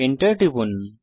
Enter টিপুন